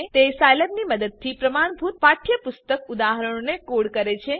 તે સાઈલેબની મદદથી પ્રમાણભૂત પાઠ્યપુસ્તક ઉદાહરણોને કોડ કરે છે